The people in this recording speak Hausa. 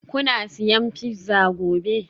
Kuna siyan pizza gobe?